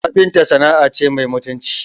Kafinta sana'a ce mai mutunci